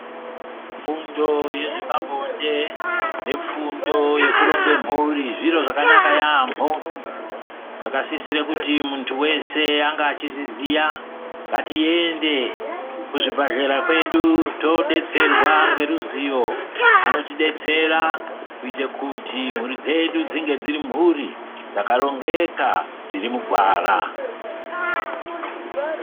Fundo yezve pabonde nefundo yekuronge mhuri, zviro zvakanaka yaamboo, zvakasisire kuti muntu weshe ange achizviziyaa, Ngatiyendeee kuzvibhadhlera kwedu todetserwaa ngeruzivo. Anotodetsera kuite kuti mhuri dzedu dzinge dziri mhuri dzakarongekaa dziri mugwaraa.